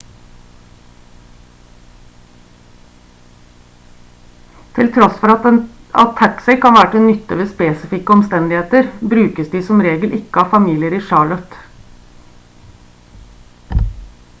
til tross for at taxi kan være til nytte ved spesifikke omstendigheter brukes de som regel ikke av familier i charlotte